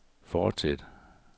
fortsæt